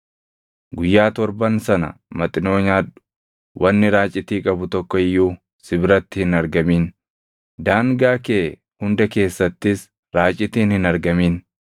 Guyyaa torban sana Maxinoo nyaadhu; wanni raacitii qabu tokko iyyuu si biratti hin argamin; daangaa kee hunda keessattis raacitiin hin argamin.